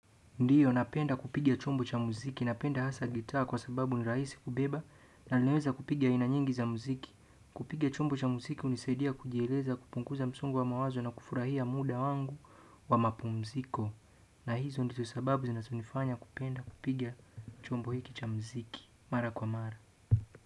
Ndiyo, napenda kupiga chombo cha muziki. Napenda hasa gitaa kwa sababu ni rahisi kubeba na nileweza kupiga aina nyingi za muziki. Kupiga chombo cha muziki hunisaidia kujieleza, kupunguza msongo wa mawazo na kufurahia muda wangu wa mapumziko. Na hizo ndizo sababu zinazonifanya kupenda kupiga chombo hiki cha muziki. Mara kwa mara.